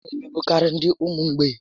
A na emegbukarị ndị ụmụ mgbei